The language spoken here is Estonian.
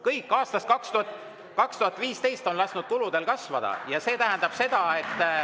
Kõik on alates aastast 2015 lasknud kuludel kasvada ja see tähendab seda, et …